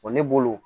ne bolo